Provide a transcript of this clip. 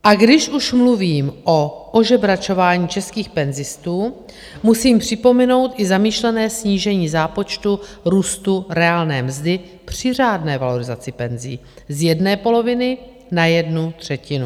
A když už mluvím o ožebračování českých penzistů, musím připomenout i zamýšlené snížení zápočtu růstu reálné mzdy při řádné valorizaci penzí z jedné poloviny na jednu třetinu.